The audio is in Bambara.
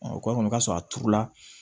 kɔmi u ka sɔrɔ a turula